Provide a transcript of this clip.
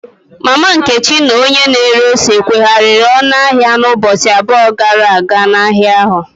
Mama Nkechi na onye na ere ose kwehariri ọnụ ahịa ụbọchị abụọ gara aga n'ahịa ahụ.